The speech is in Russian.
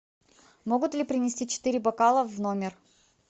могут ли принести четыре бокала в номер